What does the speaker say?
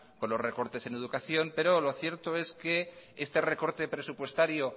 por los recortes en educación pero lo cierto es que este recorte presupuestario